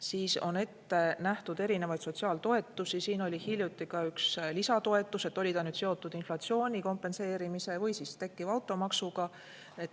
Veel on ette nähtud erinevaid sotsiaaltoetusi, näiteks oli hiljuti ka üks lisatoetus, oli see nüüd seotud inflatsiooni kompenseerimise või siis tekkiva automaksuga.